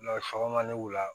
sɔgɔma ni wula